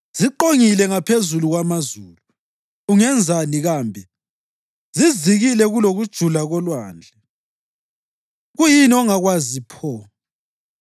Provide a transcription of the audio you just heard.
Ziqongile ngaphezu kwamazulu, ungenzani kambe? Zizikile kulokujula kolwandle, kuyini ongakwazi pho?